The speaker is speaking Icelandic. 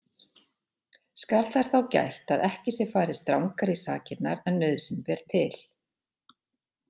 Skal þess þá gætt að ekki sé farið strangar í sakirnar en nauðsyn ber til.